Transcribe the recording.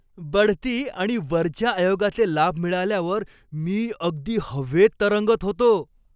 बढती आणि वरच्या आयोगाचे लाभ मिळाल्यावर मी अगदी हवेत तरंगत होतो.